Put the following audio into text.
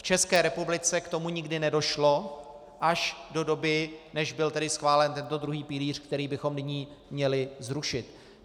V České republice k tomu nikdy nedošlo až do doby, než byl tedy schválen tento druhý pilíř, který bychom nyní měli zrušit.